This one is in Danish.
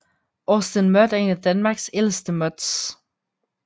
AustinMud er en af Danmarks ældste MUDs